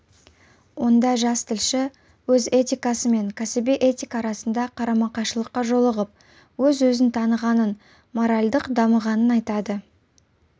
онда жас тілші өз этикасы мен кәсіби этика арасында қарама-қайшылыққа жолығып өз-өзін танығанын моральдық дамығанын айтады